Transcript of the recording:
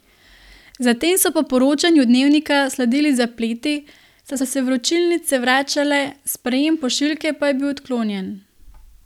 Zatem so po poročanju Dnevnika sledili zapleti, saj so se vročilnice vračale, sprejem pošiljke pa je bil odklonjen.